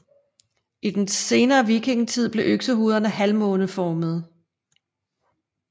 I den senere vikingetid blev øksehovederne halvmåneformede